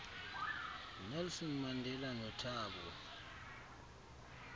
nelson mandela nothabo